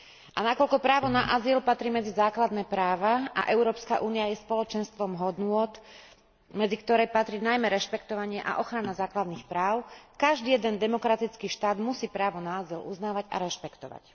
A keďže právo na azyl patrí medzi základné práva a Európska únia je spoločenstvom hodnôt, medzi ktoré patrí najmä rešpektovanie a ochrana základných práv, každý jeden demokratický štát musí právo na azyl uznávať a rešpektovať.